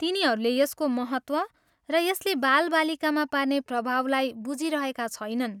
तिनीहरूले यसको महत्त्व र यसले बालबालिकामा पार्ने प्रभावलाई बुझिरहेका छैनन्।